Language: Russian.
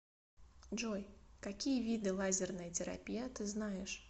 джой какие виды лазерная терапия ты знаешь